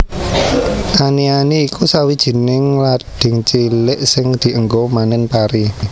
Ani ani iku sawijining lading cilik sing dienggo manen pari